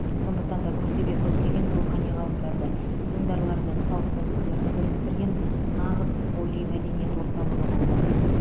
сондықтан да күлтөбе көптеген рухани ғалымдарды діндарлар мен салт дәстүрлерді біріктірген нағыз полимәдениет орталығы болды